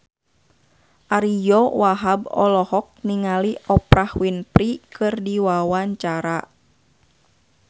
Ariyo Wahab olohok ningali Oprah Winfrey keur diwawancara